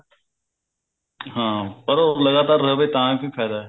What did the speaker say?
ਹਾਂ ਪਰ ਉਹ ਲਗਾਤਾਰ ਰਹਿਵੇ ਤਾਂ ਵੀ ਫਾਇਦਾ